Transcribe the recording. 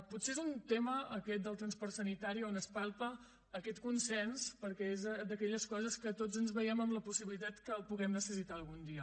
potser és un tema aquest del transport sanitari on es palpa aquest consens perquè és d’aquelles coses en què tots ens veiem amb la possibilitat que les puguem necessitar algun dia